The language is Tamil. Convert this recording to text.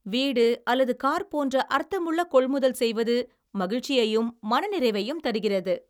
வீடு அல்லது கார் போன்ற அர்த்தமுள்ள கொள்முதல் செய்வது மகிழ்ச்சியையும் மனநிறைவையும் தருகிறது.